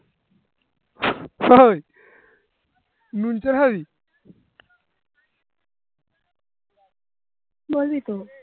বলবি তো